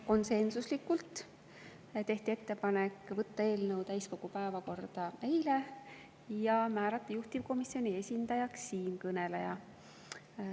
Konsensuslikult tehti ettepanek võtta eelnõu täiskogu päevakorda eilseks istungiks ja määrata juhtivkomisjoni esindajaks siinkõneleja.